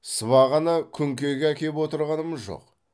сыбағаны күнкеге әкеп отырғанымыз жоқ